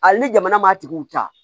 Hali ni jamana m'a tigiw ta